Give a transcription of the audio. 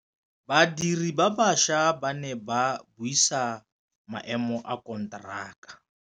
Badiri ba baša ba ne ba buisa maêmô a konteraka.